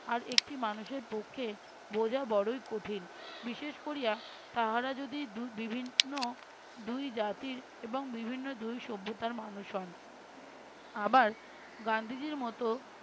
আর একটি মানুষের পক্ষে বোঝা বড়োই কঠিন বিশেষ করিয়া তাহারা যদি দু~ বিভিন্ন দুই জাতির এবং বিভিন্ন দুই সভ্যতার মানুষ হন। আবার গান্ধীজীর মতো